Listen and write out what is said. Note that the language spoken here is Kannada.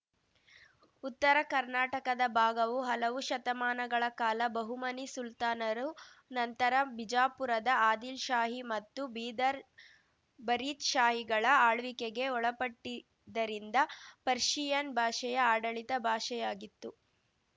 ಉತ್ತರಕರ್ನಾಟಕದ ಭಾಗವು ಹಲವು ಶತಮಾನಗಳ ಕಾಲ ಬಹುಮನಿ ಸುಲ್ತಾನರು ನಂತರ ಬಿಜಾಪುರದ ಆದಿಲ್‌ಶಾಹಿ ಮತ್ತು ಬೀದರ್‌ ಬರೀದ್‌ಶಾಹಿಗಳ ಆಳ್ವಿಕೆಗೆ ಒಳಪಟ್ಟಿದ್ದರಿಂದ ಪರ್ಶಿಯನ್‌ ಭಾಷೆಯ ಆಡಳಿತ ಭಾಷೆಯಾಗಿತ್ತು